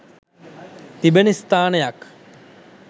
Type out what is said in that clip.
තිබෙන ස්ථානයක්